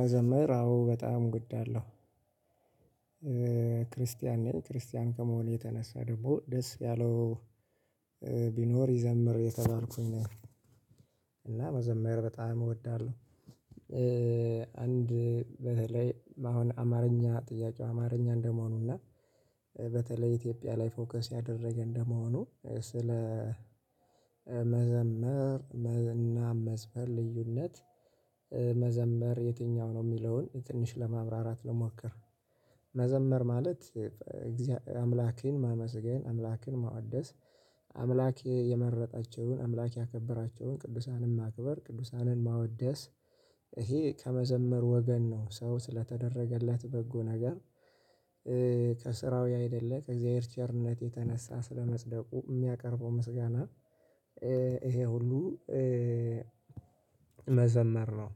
መዘመር አዎ በጣም እወዳለሁ። ክርስቲያን ነኝ ክርስቲያን ከመሆኔ የተነሳ ደግሞ ደስ ያለው ቢኖር ይዘምር የተባልኩኝ ነኝ። እና መዘመር በጣም እወዳለሁ አንድ በተለይ አሁን አማርኛ ጥያቄው አማርኛ እንደመሆኑ እና በተለይ ኢትዮጵያ ላይ ፎከስ ያደረገ እንደመሆኑ ስለ መዘመር እና መዝፈን ልዩነት መዘመር የትኛው ነው የሚለውን ትንሽ ለማብራራት ል ሞክር መዘመር ማለት አምላኬን ማመስገን፤ አምላኬን ማወደስ፤ አምላክ የመረጣቸውን አምላክ ያከበራቸውን ቅዱሳንን ማክበር፤ ቅዱሳንን ማወደስ፤ ይሄ ከመዘመር ወገን ነው ሰው ስለተደረገለት በጎ ነገር ከስራው አይደለ ከእግዚአብሔር ቸርነት የተነሳ ስለመጽደቁ የሚያቀርበው ምስጋና ይሄ ሁሉ መዘመር ነው።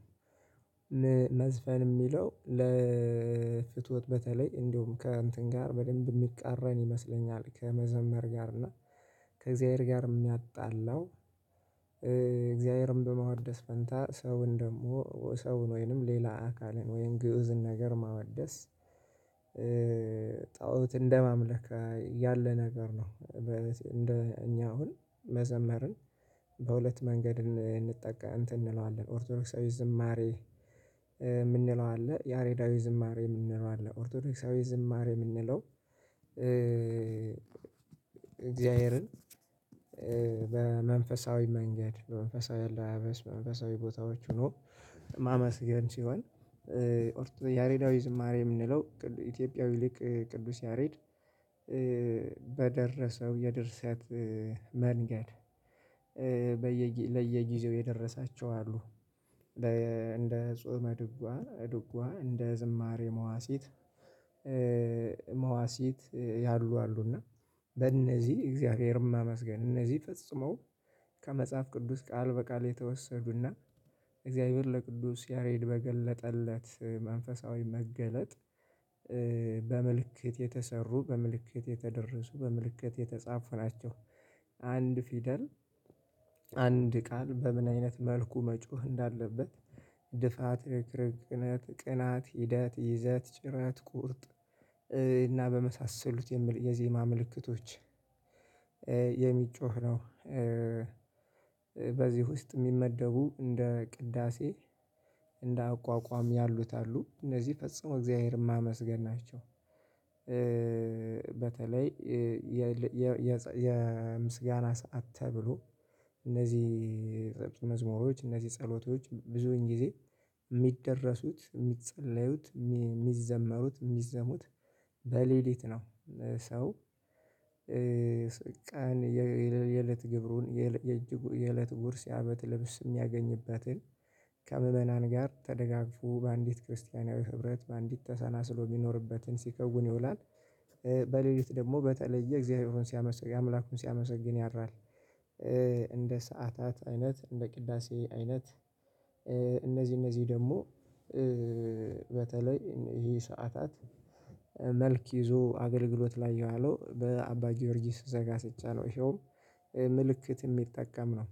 መዝፈን የሚለው ለፍትወት በተለይ እንዲሁም ከእንትን ጋር በደንብ የሚቃረን ይመስለኛል ከመዘመር ጋር እና ከእግዚአብሔር ጋር የሚያጣላው እግዚአብሔርን በመዋደስ ፈንታ ሰውን ደግሞ ሰውን ወይንም ሌላ አካልን ወይን ግኡዝን ነገር ማወደስ ጣኦት እንደማምለክ ያለ ነገር ነው እኛ አሁን መዘመርን በሁለት መንገድ እንትን እንለዋለን ኦርቶዶክሳዊ ዝማሬ የምንለው አለ፤ ያሬዳዊ ዝማሬ የምንለው አለ ኦርቶዶክሳዊ ዝማሬ የምንለው እግዚአብሔርን በመንፈሳዊ መንገድ በመንፈሳዊ አለባበስ በመንፈሳዊ ቦታዎች ሆኖ ማመስገን ሲሆን ያሬዳዊ ዝማሬ የምንለው ኢትዮጵያዊ ሊቅ ቅዱስ ያሬድ በደረሰው የደርሰት መንገድ፤ በየ ለየጊዜው የደረሳቸው አሉ እንደ ጾመ ድጓ ድጓ እንደ ዝማሬ መዋሲት መዋሲት ያሉ አሉ እና በእነዚህ እግዚአብሔርም ማመስገን እነዚህ ፈጽመው ከመጽሐፍ ቅዱስ ቃል በቃል የተወሰዱና እግዚአብሔር ለቅዱስ ያሬድ በገለጠለት መንፈሳዊ መገለጥ በምልክት የተሰሩ፤ በምልክት የተደረሱ፤ በምልክት የተጻፉ ናቸው። አንድ ፊደል አንድ ቃል በምን አይነት መልኩ መጮህ እንዳለበት ድፋት ርክርክነት ቅናት ሂደት ይዘት ጭራት ቁርጥ እና በመሳሰሉት የዜማ ምልክቶች የሚጮህ ነው። በዚህ ውስጥ የሚመደቡ እንደ ቅዳሴ እንደ አቋቋም ያሉት አሉ። እነዚህ ፈጽሞ እግዚአብሔርም የማመስገን ናቸው። በተለይ የምስጋና ሰዓት ተብሎ እነዚህ መዝሙሮች እነዚህ ጸሎቶች ብዙን ጊዜ የሚደረሱት፤ የሚጸለዩት፤ የሚዘመሩት፤ የሚዜሙት በሌሊት ነው። ሰው ቀን የእለት ግብሩን የእለት ጉርስ ያመት ልብስ የሚያገኝበትን ከምዕመናን ጋር ተደጋግፎ በአንዲት ክርስቲያናዊ ህብረት በአንዲት ተሰናስሎ ቢኖርበትን ሲከውን ይውላል። በሌሊት ደግሞ በተለየ እግዚአብሔርን ሲያመሰግን አምላኩን ሲያመሰግን ያ ያድራል። እንደ ሰዓታት አይነ፤ እንደ ቅዳሴ አይነት፤ እነዚህ እነዚህ ደግሞ በተለይ ይሄ ሰዓታት መልክ ይዞ አገልግሎት ላይ የዋለው በአባ ጊዮርጊስ ዘጋስጫ ነው ይኸውም ምልክት የሚጠቀም ነው።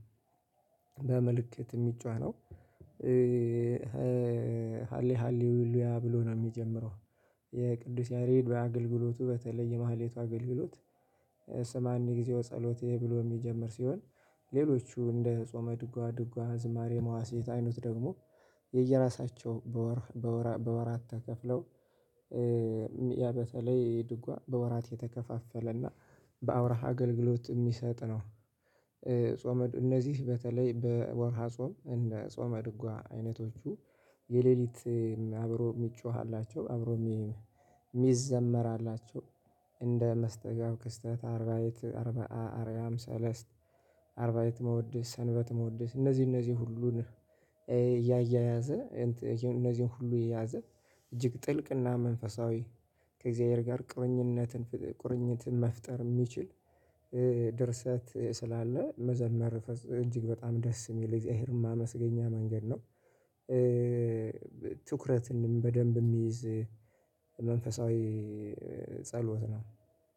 በምልክት የጮህ ሃሌ ሃሌሉያ ብሎ ነው የሚጀምረው። የቅዱስ ያሬድ በአገልግሎቱ በተለይ የማህሌቷ አገልግሎት ሰማንያ ጊዜው ጸሎቴ ብሎ የሚጀምር ሲሆን ሌሎቹ እንደ ጾመ ድጓ ድጓ ዝማሬ መዋስ አይነቱ ደግሞ የየራሳቸው በወር በወራት ተከፍለው ያ በተለይ ድጓ በወራት የተከፋፈለና በአውራሃ አገልግሎት የሚሰጥ ነው። እነዚህ በተለይ በወርሃ ጾም እንደ ጾመ ድጓ አይነቶቹ የሌሊት አብሮ የሚጮህ አላቸው አብሮ የሚዘመር አላቸው። እንደ መስተጋብ ክስተት አርባኤት አርባኤ አርያም ሰለስት አርባይት መውደስ ሰንበት መውደስ እነዚህ እነዚህ ሁሉን እያያያዘ እነዚህን ሁሉ የያዘ እጅግ ጥልቅና መንፈሳዊ ከእግዚአብሔር ጋር ቁርኝነትን ቅርኝት መፍጠር የሚችል ድርሰት ስላለ መዘመር እጅግ በጣም ደስ የሚል እግዚአብሔርን የማመስገኝ መንገድ ነው። ትኩረትንም በደንብ የሚይዝ መንፈሳዊ ጸሎት ነው።